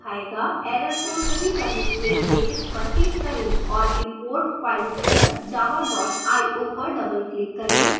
error को सही करने के लिए इस पर click करें और import filereader java dot io पर double click करें